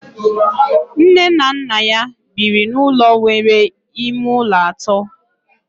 Nne na nna ya biri n'ụlọ nwere ime ụlọ atọ